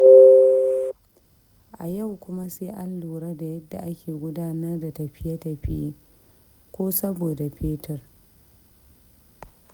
A yau kuma sai an lura da yadda ake gudanar da tafiye-tafiye, ko saboda fetur.